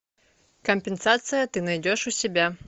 компенсация ты найдешь у себя